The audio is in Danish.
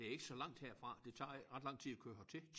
Det ikke så langt herfra det tager ikke ret lang tid at køre hertil